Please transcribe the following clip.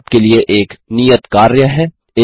यहाँ आपके लिए एक नियत कार्य है